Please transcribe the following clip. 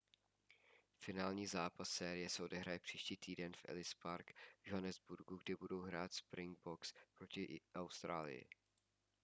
finální zápas série se odehraje příští týden v ellis park v johannesburgu kde budou hrát springboks proti austrálii